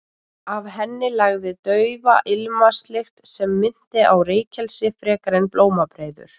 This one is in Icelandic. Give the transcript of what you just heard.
Af henni lagði daufa ilmvatnslykt sem minnti á reykelsi frekar en blómabreiður.